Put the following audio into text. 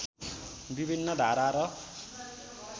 विभिन्न धारा र